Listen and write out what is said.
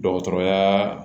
Dɔgɔtɔrɔyaa